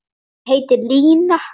Hún heitir Linja.